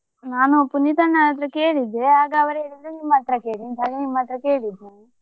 ನಾನು ಪುನೀತ ಅಣ್ಣನ ಹತ್ರ ಕೇಳಿದ್ದೆ ಆಗ ಅವರು ಹೇಳಿದ್ರು ನಿಮ್ಮ ಹತ್ರ ಕೇಳಿ ಅಂತ ಹಾಗೆ ನಿಮ್ಮತ್ರ ಕೇಳಿದ್ದ್ ನಾನು.